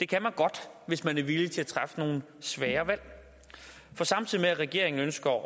kan man godt hvis man er villig til at træffe nogle svære valg for samtidig med at regeringen ønsker